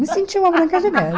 Me sentia uma branca de neve.